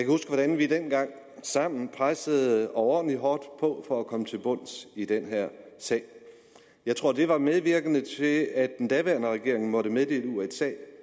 huske hvordan vi dengang sammen pressede overordentlig hårdt på for at komme til bunds i den her sag jeg tror det var medvirkende til at den daværende regering måtte meddele usa